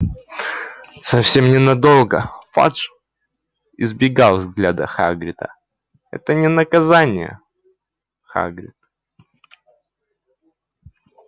совсем ненадолго фадж избегал взгляда хагрида это не наказание хагрид